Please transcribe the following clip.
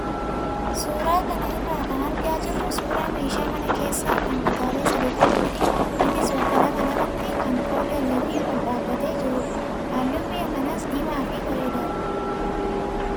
Suuraa kana irraa kan argaa jirru suuraa meeshaa mana keessaa kan kutaalee sadii qabuu fi innis bakka lama lamatti kan qoodamee fi ol dhaabbatee jirudha. Halluun mi'a kanaas diimaa fi bareedaadha.